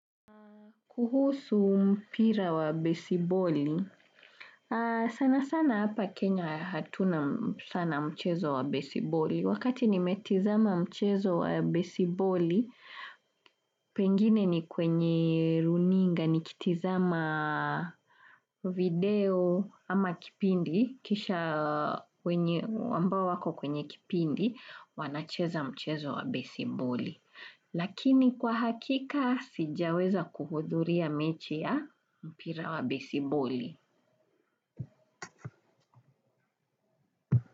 Kuhusu mpira wa baseboli, sana sana hapa Kenya hatuna sana mchezo wa baseboli. Wakati ni metizama mchezo wa baseboli, pengine ni kwenye runinga ni kitizama video ama kipindi, kisha ambao wako kwenye kipindi, wanacheza mchezo wa baseboli. Lakini kwa hakika sijaweza kuhudhuria mechi ya mpira wa baseboli.